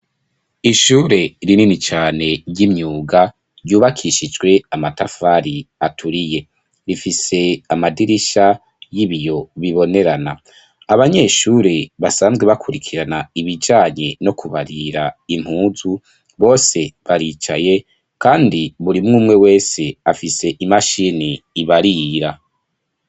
Ishure rinini cane, ry'imyuga, ryubakishijwe amatafari aturiye; rifise amadirisha y'ibiyo bibonerana; abanyeshure, basanzwe bakurikirana ibijanye no kubarira impuzu, bose baricaye, kandi buri umwe umwe wese, afise imashini ibarira.